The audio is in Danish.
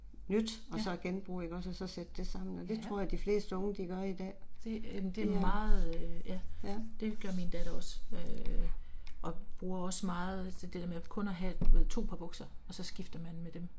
Ja, ja. Det jamen det er meget ja det gør min datter også øh og bruger også meget det der med kun at have du ved 2 par bukser og så skifter man med dem